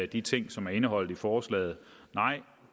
de ting som er indeholdt i forslaget nej